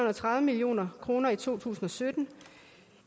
og tredive million kroner i to tusind og sytten